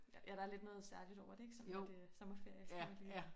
Ja der er lidt noget særligt over det ikke sådan at øh sommerferie der skal man lige